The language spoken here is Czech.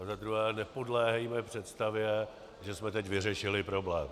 A za druhé, nepodléhejme představě, že jsme teď vyřešili problém.